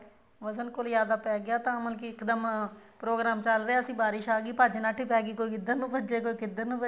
ਵਜਨਖੋਰ ਜਿਆਦਾ ਪੈਗਿਆ ਤਾਂ ਮਤਲਬ ਕੀ ਇੱਕਦਮ ਪ੍ਰੋਗ੍ਰਾਮ੍ ਚੱਲ ਰਿਹਾ ਸੀ ਬਾਰਿਸ਼ ਆਗੀ ਭੱਜ ਨੱਠ ਹੀ ਪੈਗੀ ਕੋਈ ਕਿੱਧਰ ਨੂੰ ਭੱਜੇ ਕੋਈ ਕਿੱਧਰ ਨੂੰ ਭੱਜੇ